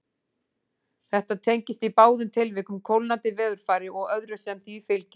Þetta tengist í báðum tilvikum kólnandi veðurfari og öðru sem því fylgir.